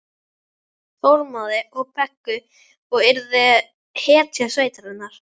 Þormóði og Beggu og yrði hetja sveitarinnar.